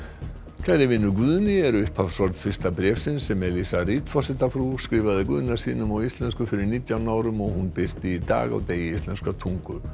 kæri vinur Guðni eru upphafsorð fyrsta bréfsins sem Eliza Reid forsetafrú skrifaði Guðna sínum á íslensku fyrir nítján árum og hún birti í dag á degi íslenskrar tungu